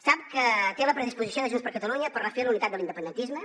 sap que té la predisposició de junts per catalunya per refer la unitat de l’independentisme